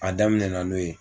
A daminɛna n'o ye.